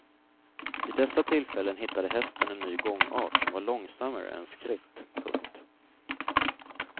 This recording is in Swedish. Vid dessa tillfällen hittade hästen en ny gångart som var långsammare än skritt. punkt